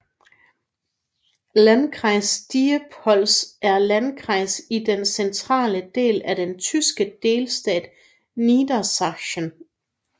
Landkreis Diepholz er Landkreis i den centrale del af den tyske delstat Niedersachsen